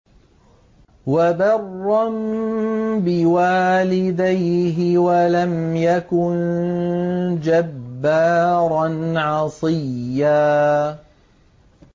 وَبَرًّا بِوَالِدَيْهِ وَلَمْ يَكُن جَبَّارًا عَصِيًّا